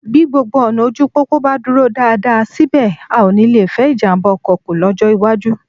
Bí gbogbo ọ̀nà ojú pópó bá dúró dáadáa, síbẹ̀, a ó nì lè fẹ́ ìjàmbá ọkọ kù lọ́jọ́ iwájú